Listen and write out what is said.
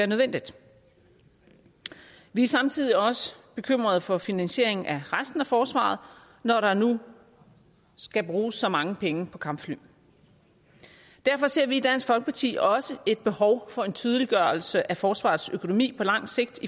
nødvendigt vi er samtidig også bekymrede for finansieringen af resten af forsvaret når der nu skal bruges så mange penge på kampfly derfor ser vi i dansk folkeparti også et behov for en tydeliggørelse af forsvarets økonomi på lang sigt